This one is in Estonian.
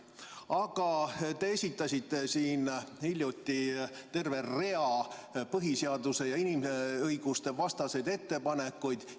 Aga te esitasite siin hiljuti terve rea põhiseaduse- ja inimõigustevastaseid ettepanekuid.